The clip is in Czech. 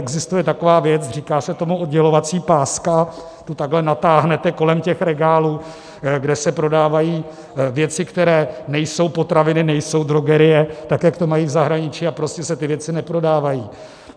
Existuje taková věc, říká se tomu oddělovací páska, tu takhle natáhnete kolem těch regálů, kde se prodávají věci, které nejsou potraviny, nejsou drogerie, tak jak to mají v zahraničí, a prostě se ty věci neprodávají.